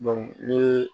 ni ye